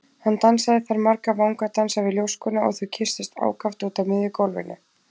Hann dansaði þar marga vangadansa við ljóskuna og þau kysstust ákaft úti á miðju gólfinu.